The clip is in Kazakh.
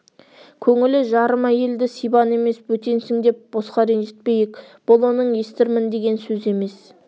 көңілі жарым әйелді сибан емес бөтенсің деп босқа ренжітпейік бұл оның естірмін деген сөзі емес